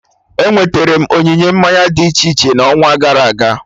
Enweterem onyinye mmanya dị iche iche n'ọnwa gara aga